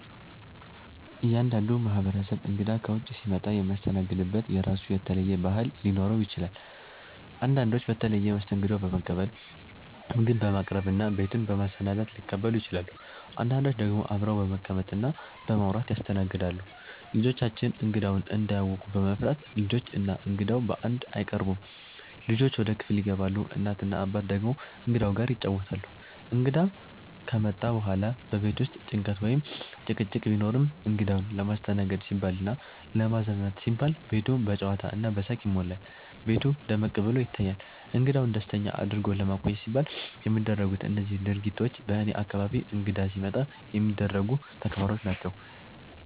እያንዳንዱ ማህበረሰብ እንግዳ ከውጭ ሲመጣ የሚያስተናግድበት የራሱ የተለየ ባህል ሊኖረው ይችላል። አንዳንዶች በተለየ መስተንግዶ በመቀበል፣ ምግብ በማቅረብ እና ቤቱን በማሰናዳት ሊቀበሉ ይችላሉ። አንዳንዶች ደግሞ አብረው በመቀመጥ እና በማውራት ያስተናግዳሉ። ልጆቻችን እንግዳውን እንዳያውኩ በመፍራት፣ ልጆች እና እንግዳው በአንድ አይቀርቡም፤ ልጆች ወደ ክፍል ይገባሉ፣ እናት እና አባት ደግሞ እንግዳው ጋር ይጫወታሉ። እንግዳ ከመጣ በኋላ በቤት ውስጥ ጭንቀት ወይም ጭቅጭቅ ቢኖርም፣ እንግዳውን ለማስተናገድ ሲባልና ለማዝናናት ሲባል ቤቱ በጨዋታ እና በሳቅ ይሞላል፤ ቤቱ ደመቅ ብሎ ይታያል። እንግዳውን ደስተኛ አድርጎ ለማቆየት ሲባል የሚደረጉት እነዚህ ድርጊቶች በእኔ አካባቢ እንግዳ ሲመጣ የሚደረጉ ተግባሮች ናቸው።